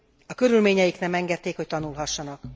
A körülményeik nem engedték, hogy tanulhassanak.